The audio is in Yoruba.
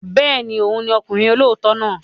Bẹ́ẹ̀ ni, òun ni ọkùnrin olóòótọ́ náà.